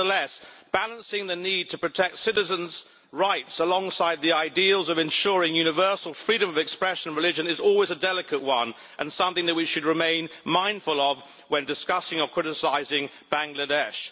Nevertheless, the balance between the need to protect citizens' rights and the ideals of ensuring universal freedom of expression and religion is always a delicate one and is something of which we should remain mindful when we are discussing or criticising Bangladesh.